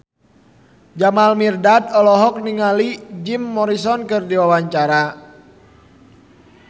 Jamal Mirdad olohok ningali Jim Morrison keur diwawancara